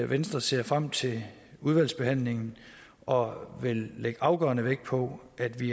venstre ser frem til udvalgsbehandlingen og vil lægge afgørende vægt på at vi